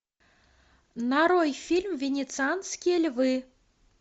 нарой фильм венецианские львы